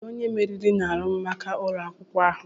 Kedu onye meriri n'arụmụka ụlọ akwụkwọ ahụ?